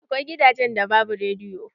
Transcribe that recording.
Akwai gidajen da babu rediyo.